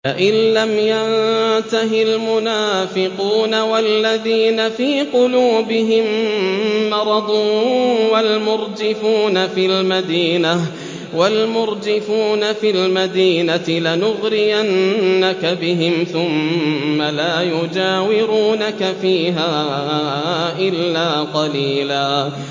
۞ لَّئِن لَّمْ يَنتَهِ الْمُنَافِقُونَ وَالَّذِينَ فِي قُلُوبِهِم مَّرَضٌ وَالْمُرْجِفُونَ فِي الْمَدِينَةِ لَنُغْرِيَنَّكَ بِهِمْ ثُمَّ لَا يُجَاوِرُونَكَ فِيهَا إِلَّا قَلِيلًا